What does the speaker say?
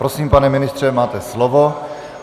Prosím, pane ministře, máte slovo.